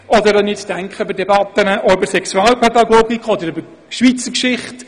Oder ich denke beispielweise auch an Debatten über Sexualpädagogik oder über die Schweizer Geschichte: